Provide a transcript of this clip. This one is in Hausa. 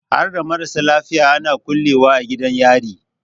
Harda marasa laifi ana kulle wa a gidan yari?